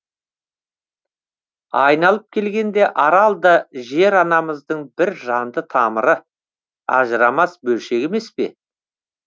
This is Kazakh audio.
айналып келгенде арал да жер анамыздың бір жанды тамыры ажырамас бөлшегі емес пе